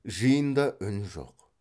жиында үн жоқ